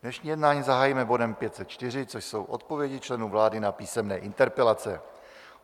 Dnešní jednání zahájíme bodem 504, což jsou odpovědi členů vlády na písemné interpelace.